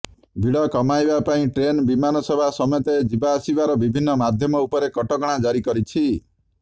ଭିଡ କମାଇବା ପାଇଁ ଟ୍ରେନ୍ ବିମାନ ସେବା ସମେତ ଯିବାଆସିବାର ବିଭିନ୍ନ ମାଧ୍ୟମ ଉପରେ କଟକଣା ଜାରି କରିଛି